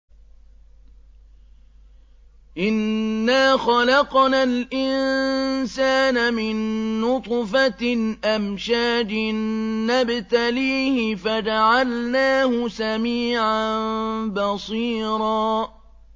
إِنَّا خَلَقْنَا الْإِنسَانَ مِن نُّطْفَةٍ أَمْشَاجٍ نَّبْتَلِيهِ فَجَعَلْنَاهُ سَمِيعًا بَصِيرًا